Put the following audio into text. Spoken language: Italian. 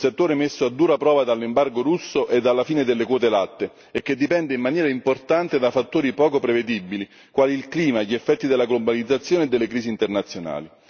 Un settore messo a dura prova dall'embargo russo e dalla fine delle quote latte e che dipende in maniera importante da fattori poco prevedibili, quali il clima, gli effetti della globalizzazione e delle crisi internazionali.